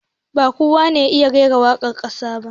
Ba kowa ba ne ya iya rera waƙwar wasa